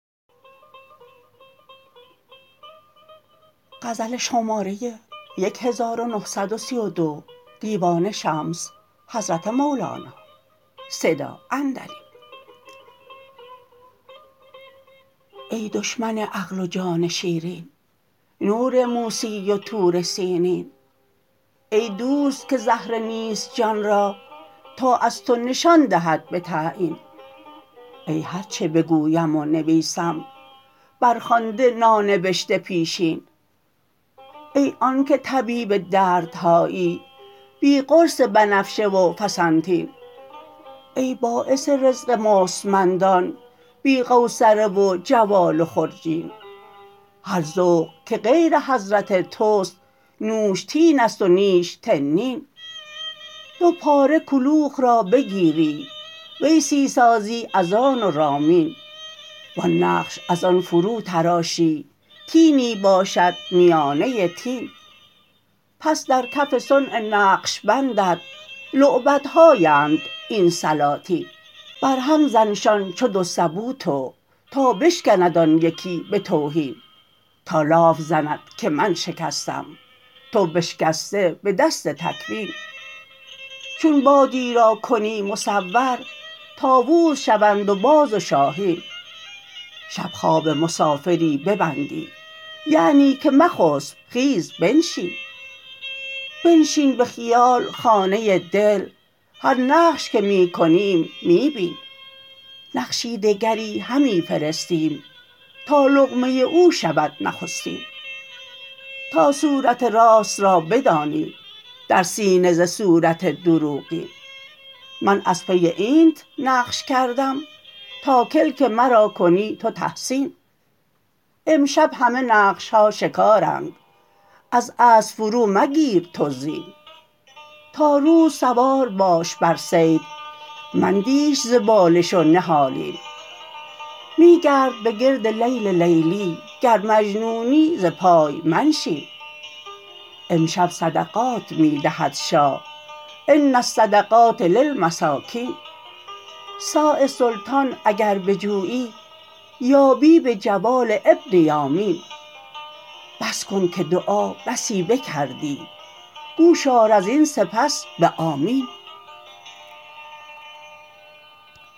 ای دشمن عقل و جان شیرین نور موسی و طور سینین ای دوست که زهره نیست جان را تا از تو نشان دهد به تعیین ای هر چه بگویم و نویسم برخوانده نانبشته پیشین ای آنک طبیب دردهایی بی قرص بنفشه و فسنتین ای باعث رزق مستمندان بی قوصره و جوال و خرجین هر ذوق که غیر حضرت توست نوش تین است و نیش تنین دو پاره کلوخ را بگیری ویسی سازی از آن و رامین وان نقش از آن فروتراشی طینی باشد میانه طین پس در کف صنع نقش بندت لعبت هااند این سلاطین بر هم زنشان چو دو سبو تو تا بشکند آن یکی به توهین تا لاف زند که من شکستم تو بشکسته به دست تکوین چون بادی را کنی مصور طاووس شوند و باز و شاهین شب خواب مسافری ببندی یعنی که مخسب خیز بنشین بنشین به خیال خانه دل هر نقش که می کنیم می بین نقشی دگری همی فرستیم تا لقمه او شود نخستین تا صورت راست را بدانی در سینه ز صورت دروغین من از پی اینت نقش کردم تا کلک مرا کنی تو تحسین امشب همه نقش ها شکارند از اسب فرومگیر تو زین تا روز سوار باش بر صید مندیش ز بالش و نهالین می گرد به گرد لیل لیلی گر مجنونی ز پای منشین امشب صدقات می دهد شاه ان الصدقات للمساکین صاع سلطان اگر بجویی یابی به جوال ابن یامین بس کن که دعا بسی بکردی گوش آر از این سپس به آمین